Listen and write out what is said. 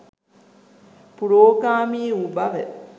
පුරෝගාමී වූ බව